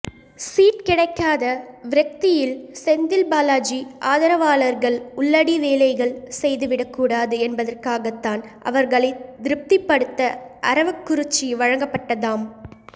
seat கிடைக்காத விரக்தியில் செந்தில்பாலாஜி ஆதரவாளர்கள் உள்ளடி வேலைகள் செய்துவிடக்கூடாது என்பதற்காகத்தான் அவர்களைத் திருப்திபடுத்த அரவக்குறிச்சி வழங்கப்பட்டதாம்